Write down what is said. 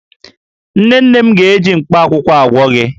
Nne nne m ga-eji mkpaakwụkwọ agwọ gi